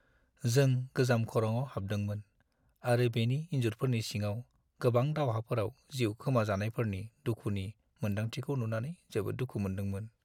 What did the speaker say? जों गोजाम खरंआव हाबदोंमोन आरो बेनि इन्जुरफोरनि सिङाव गोबां दावहाफोराव जिउ खोमाजानायफोरनि दुखुनि मोनदांथिखौ नुनानै जोबोद दुखु मोनदोंमोन।